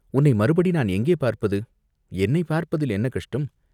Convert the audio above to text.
"உன்னைப் மறுபடி நான் எங்கே பார்ப்பது?" "என்னைப் பார்ப்பதில் என்ன கஷ்டம்?